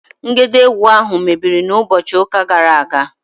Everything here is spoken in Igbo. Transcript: Ngedegwu ahụ mebiri na ụbọchị ụka gara aga